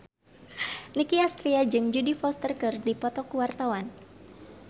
Nicky Astria jeung Jodie Foster keur dipoto ku wartawan